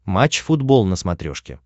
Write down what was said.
матч футбол на смотрешке